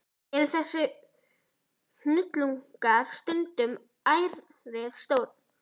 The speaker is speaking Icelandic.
Eru þessir hnullungar stundum ærið stórir.